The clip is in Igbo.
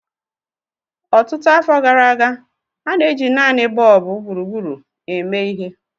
Ọtụtụ afọ gara aga, a na-eji naanị bọlbụ gburugburu eme ihe.